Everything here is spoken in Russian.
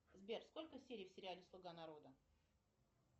сбер сколько серий в сериале слуга народа